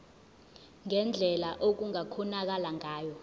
ngendlela okungakhonakala ngayo